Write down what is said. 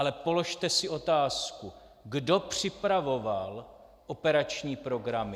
Ale položte si otázku, kdo připravoval operační programy.